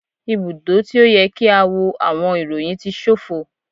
Ibudo ti o yẹ ki a wo awọn iroyin ti ṣofo